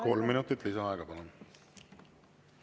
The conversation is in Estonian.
Kolm minutit lisaaega, palun!